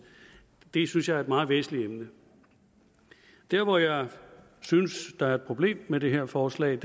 det synes jeg er et meget væsentligt emne der hvor jeg synes der er et problem med det her forslag